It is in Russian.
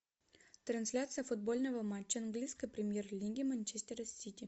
трансляция футбольного матча английскй премьер лиги манчестера с сити